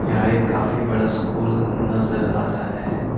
यह एक काफी बड़ा स्कूल नज़र आ रहा है ।